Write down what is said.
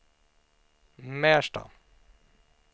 Märsta